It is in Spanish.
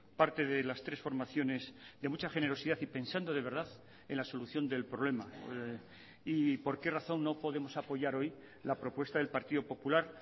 parte de las tres formaciones de mucha generosidad y pensando de verdad en la solución del problema y por qué razón no podemos apoyar hoy la propuesta del partido popular